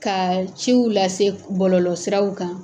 Ka ciw lase bɔlɔlɔ siraw kan.